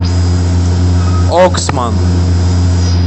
оксман